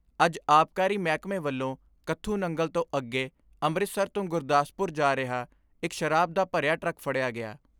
ਅੱਜ ਆਬਕਾਰੀ ਮਹਿਕਮੇ ਵੱਲੋਂ ਕੱਥੂ ਨੰਗਲ ਤੋਂ ਅੱਗੇ ਅੰਮ੍ਰਿਤਸਰ ਤੋਂ ਗੁਰਦਾਸਪੁਰ ਜਾ ਰਿਹਾ ਇਕ ਸ਼ਰਾਬ ਦਾ ਭਰਿਆ ਟਰੱਕ ਫੜਿਆ ਗਿਆ।